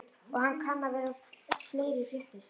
Og kann vera að fleira fréttist.